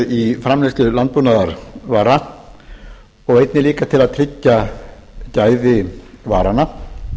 í framleiðslu landbúnaðarvara og einnig líka til að tryggja gæði varanna